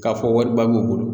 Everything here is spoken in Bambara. K'a fɔ wariba b'u bolo.